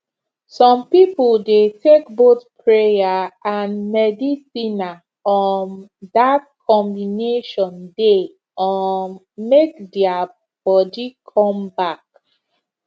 some people dey take both prayer and medicine na um that combination dey um make their body come back